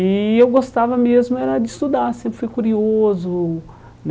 E eu gostava mesmo era de estudar, sempre fui curioso né.